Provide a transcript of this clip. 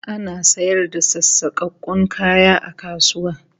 Ana sayar da sassakakkun kaya a kasuwa